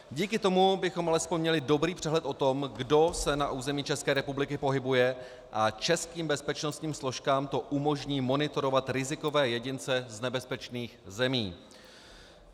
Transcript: Díky tomu bychom alespoň měli dobrý přehled o tom, kdo se na území České republiky pohybuje, a českým bezpečnostním složkám to umožní monitorovat rizikové jedince z nebezpečných zemí.